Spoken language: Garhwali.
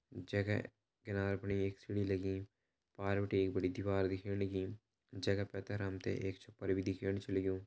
जेका किनारा पण एक सीडी लगीं पुवार भीटे एक बड़ी दिवार दिख्येण लगीं जेका पैथर हमते एक छप्पर भी दिख्याणु छा लगयूं।